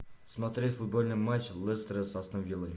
смотреть футбольный матч лестера с астон виллой